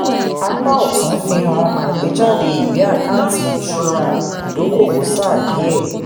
apá ọ̀tún fi hàn àgbéjáde ìwé àkáǹtì ìṣura ìdókòwò sáà díẹ̀.